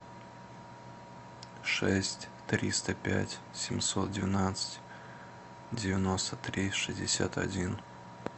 шесть триста пять семьсот двенадцать девяносто три шестьдесят один